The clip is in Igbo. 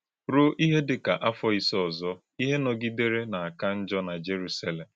Rúo íhè dị ka áfọ̀ ísè ọ̀zọ̀, íhè nọgidèrè na-aká njọ̀ na Jèrùsálèm.